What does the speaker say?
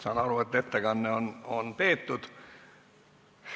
Saan aru, et ettekanne on peetud.